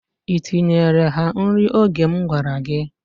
I tinyeere ha nri oge m gwara gị?